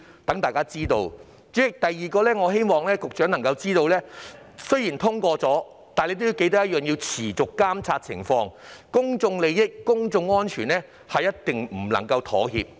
第二，局長應該緊記，在法例通過後仍須持續監察樓宇安全，公眾利益和公眾安全是絕對不能妥協的。